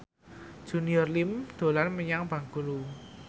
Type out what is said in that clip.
Junior Liem dolan menyang Bengkulu